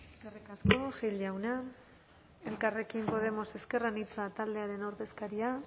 eskerrik asko gil jauna elkarrekin podemos ezker anitza taldearen ordezkaria